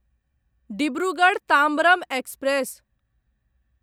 Dibrugarh Tambaram express